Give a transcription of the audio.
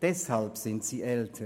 Deshalb sind die Lernenden älter.